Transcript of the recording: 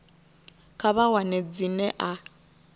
kha vha wane dzina a